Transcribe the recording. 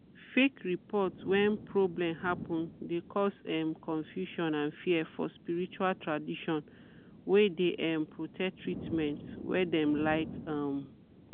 fake report when problem happen de cause um confusion and fear for spirtual traditions wey de um protect treatment wey dem like. um